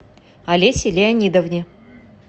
олесе леонидовне